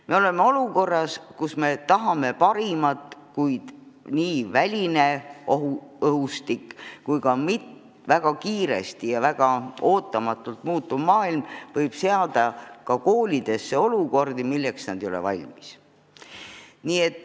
Me oleme olukorras, kus me tahame parimat, kuid väline õhustik, kogu väga kiiresti ja väga ootamatul moel muutuv maailm võib ka koolides tekitada olukordi, milleks nad ei ole valmis.